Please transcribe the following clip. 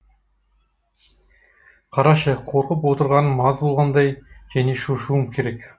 қарашы қорқып отырғаным аз болғандай және шошуым керек